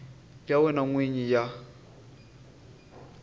ya wena n wini ya